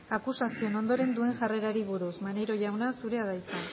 akusazioen ondoren duen jarrerari buruz maneiro jauna zurea da hitza